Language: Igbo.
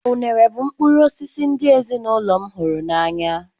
Unere bụ mkpụrụ osisi ndị ezinụlọ m hụrụ n'anya.